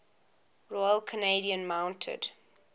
royal canadian mounted